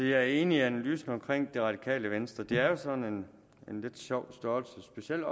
jeg er enig i analysen af det radikale venstre de er jo en sådan lidt sjov størrelse specielt